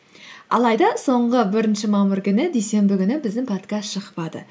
алайда соңғы бірінші мамыр күні дүйсенбі күні біздің подкаст шықпады